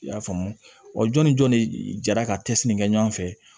I y'a faamu wa wa jɔn ni jɔn de jara ka tɛsi kɛ ɲɔgɔn fɛ